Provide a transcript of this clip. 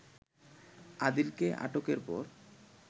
আদিলকে আটকের পর